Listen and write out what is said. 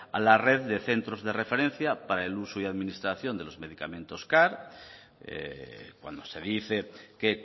a la red de centros de referencia para el uso y administración de los medicamentos car cuando se dice que